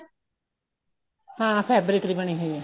ਹਾਂ fabric ਦੀ ਬਣੀ ਹੋਈ ਆ